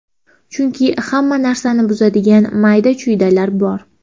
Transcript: Chunki hamma narsani buzadigan mayda-chuydalar bor.